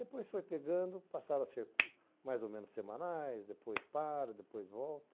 Depois foi pegando, passaram a ser mais ou menos semanais, depois para, depois volta.